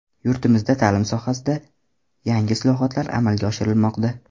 Yurtimizda ta’lim sohasida yangi islohotlar amalga oshirilmoqda.